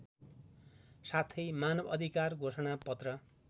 साथै मानवअधिकार घोषणापत्र